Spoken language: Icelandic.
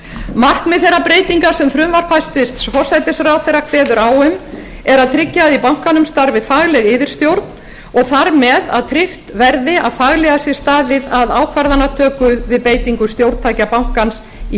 markmið þeirra breytinga sem frumvarp hæstvirts forsætisráðherra kveður á um er að tryggja að í bankanum starfi yfirstjórn og það með að tryggt verði að faglega sé staðið að ákvarðanatöku við beitingu stjórntækja bankans í